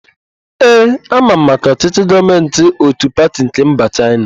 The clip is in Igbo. Ee, ama m maka ọchịchị gọọmentị ótù pati nke mba Chaịna.